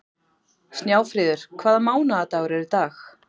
Snjáfríður, hvaða mánaðardagur er í dag?